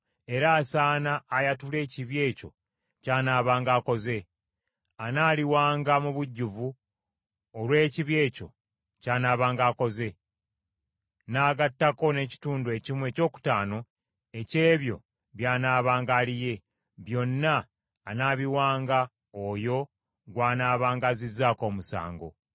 era asaana ayatule ekibi ekyo ky’anaabanga akoze. Anaaliwanga mu bujjuvu olw’ekibi ekyo ky’anaabanga akoze, n’agattako n’ekitundu ekimu ekyokutaano eky’ebyo by’anaabanga aliye, byonna anaabiwanga oyo gw’anaabanga azizzaako omusango.